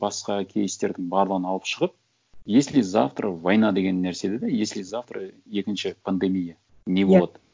басқа кейстердің барлығын алып шығып если завтра война деген нәрселер да если завтра екінші пандемия не болады